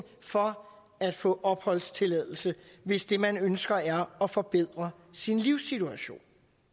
for at få opholdstilladelse hvis det man ønsker er at forbedre sin livssituation